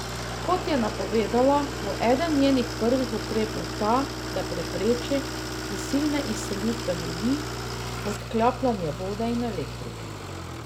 Kot je napovedala, bo eden njenih prvih ukrepov ta, da prepreči prisilne izselitve ljudi, odklapljanje vode in elektrike.